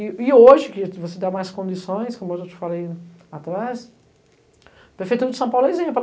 E e hoje, que você dá mais condições, como eu já te falei lá atrás, a prefeitura de São Paulo é exemplo.